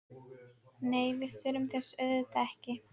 Nei, við þurfum þess auðvitað ekki.